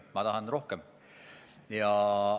Ma tahan rohkem!